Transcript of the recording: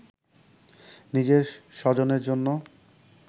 নিজের স্বজনের জন্য